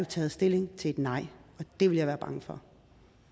taget stilling til et nej og det vil jeg være bange for